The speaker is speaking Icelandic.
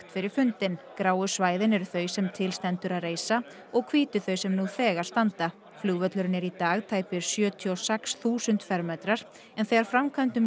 fyrir fundinn gráu svæðin eru þau sem til stendur að reisa og hvítu þau sem nú þegar standa flugvöllurinn er í dag tæpir sjötíu og sex þúsund fermetrar en þegar framkvæmdum